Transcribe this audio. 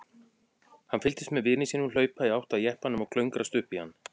Hann fylgdist með vini sínum hlaupa í átt að jeppanum og klöngrast upp í hann.